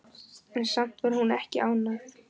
En samt var hún ekki ánægð.